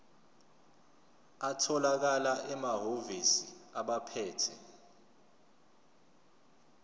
atholakala emahhovisi abaphethe